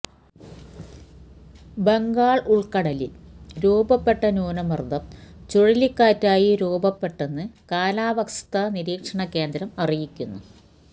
ബംഗാള് ഉള്ക്കടലില് രൂപപ്പെട്ട ന്യൂനമര്ദ്ദം ചുഴലിക്കാറ്റായി രൂപപ്പെട്ടെന്ന് കാലവസ്ഥാ നിരീക്ഷണ കേന്ദ്രം അരിയിക്കുന്നു